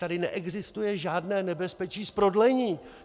Tady neexistuje žádné nebezpečí z prodlení!